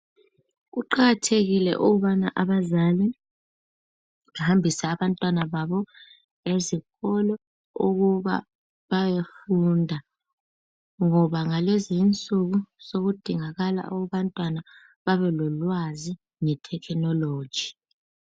kuqakathekile ukubana abazali bahambise abantwana baba ezikolo ukuba bayofunda ngoba ngalezinsuku sokudingakala abantwana babe lolwazi nge technology